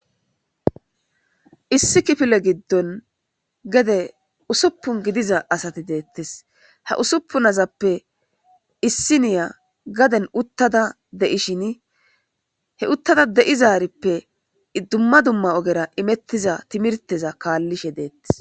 Issi kifile giddon gede usupun gidiza asathi deeththes; ha usupun asappe issiniya gaden uththada de7ishin he uththada de7izaarippe dumma dumma ogera imeththiza thimirththeza kaallishe deeththes.